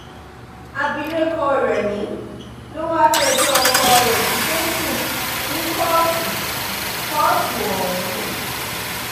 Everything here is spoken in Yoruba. àbílẹ̀kọ rẹ́mi ló wáá fẹjọ́ ọkọ rẹ jíde sùn ní kóòtù kóòtù ọ̀hún